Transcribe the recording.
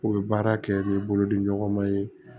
U bɛ baara kɛ n'u bolodi ɲɔgɔn ma ye